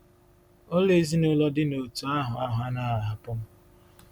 Ụlọ ezinụlọ dị n’òtù ahụ ahụ anaghị ahapụ m.